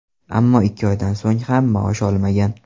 Ammo ikki oydan so‘ng ham maosh olmagan.